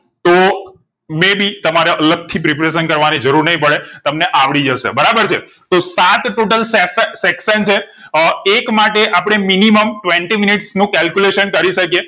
તો may be તમારે અલગથી pepration કર વાણી જરૂર નહિ પડે તમને આવડી જશે બરાબર છે તો સાત total sec section છે અ એક માટે આપણે minimum twenty મિનિટ નું calculation કરી શકીયે